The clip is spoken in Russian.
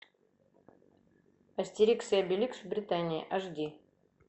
астерикс и обеликс в британии аш ди